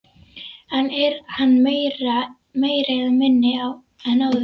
En er hann meiri eða minni en áður?